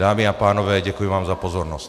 Dámy a pánové, děkuji vám za pozornost.